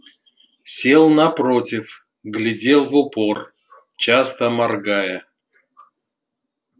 сел напротив глядел в упор часто моргая